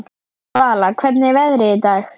Vala, hvernig er veðrið í dag?